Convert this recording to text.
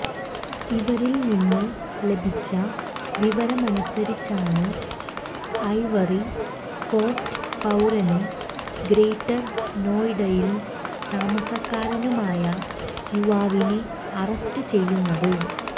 ഇവരിൽനിന്ന് ലഭിച്ച വിവരമനുസരിച്ചാണ് Ivory Coast പൌരനും ഗ്രേറ്റർ നോയിഡയിൽ താമസക്കാരനുമായ യുവാവിനെ അറസ്റ്റ് ചെയ്യുന്നത്